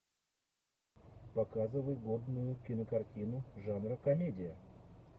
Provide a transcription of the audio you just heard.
показывай модную кинокартину жанра комедия